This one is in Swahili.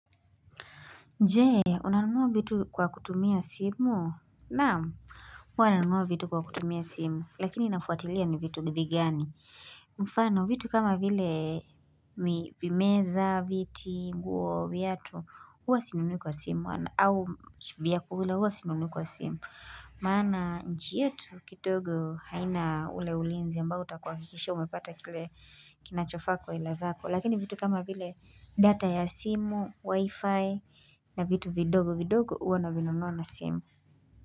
Je, unanunua vitu kwa kutumia simu? Na, huwa nanunua vitu kwa kutumia simu, lakini inafuatilia ni vitu nibi gani. Mfano, vitu kama vile meza, viti, nguo, viatu, huwa sinunui kwa simu, au vyakula huwa sinunui kwa simu. Maana, nchi yetu, kidogo, haina ule ulinzi ambao utakuhakikisha, umepata kile kinachofaa kwa hela zako. Lakini vitu kama vile data ya simu, wifi na vitu vidogo vidogo huwa na vinunua na simu.